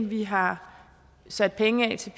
vi har sat penge af til